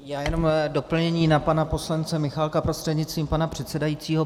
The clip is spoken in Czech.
Já jenom doplnění na pana poslance Michálka prostřednictvím pana předsedajícího.